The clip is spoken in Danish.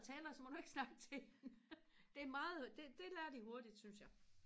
og tæller så må du ikke snakke til hende det er meget det det lærer de hurtigt synes jeg